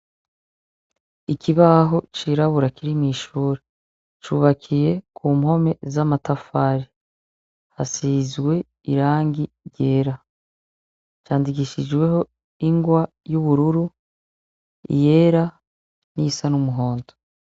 Ikibaho cirabura kiri mw'ishure, cubakiye ku mpome z'amatafari, hasizwe irangi ryera. Candikishijweko ingwa y'ubururu, iyera n'iyisa n'umuhondo.